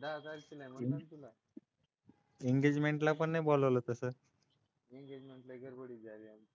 दहा तारखेला आहे म्हणलो ना तुला एंगेजमेंट ला पण नाही बोलावलं तसं एंगेजमेंट लय गडबडीत झाली.